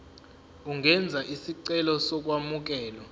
ungenza isicelo sokwamukelwa